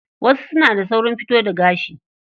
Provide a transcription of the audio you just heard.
Wasu suna da saurin fito da gashi.